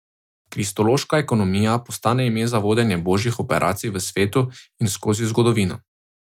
Kristološka ekonomija postane ime za vodenje božjih operacij v svetu in skozi zgodovino.